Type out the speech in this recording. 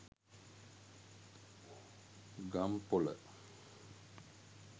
gampola